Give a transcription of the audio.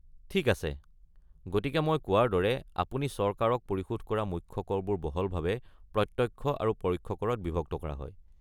ঠিক আছে, গতিকে মই কোৱাৰ দৰে, আপুনি চৰকাৰক পৰিশোধ কৰা মুখ্য কৰবোৰ বহলভাৱে প্ৰত্যক্ষ আৰু পৰোক্ষ কৰত বিভক্ত কৰা হয়।